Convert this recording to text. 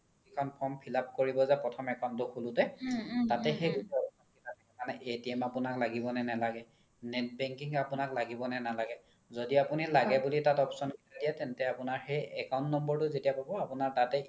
যিখন form fill-up কৰিব যে প্ৰথম account তো খুলোতে মানে আপোনাক লাগিব নে নালাগে net banking আপোনাক লাগিব নে নালাগে য্দি আপোনি লাগে বুলি তাত option দিয়ে তেন্তে সেই account number তো যেতিয়া পাব আপোনাৰ তাতে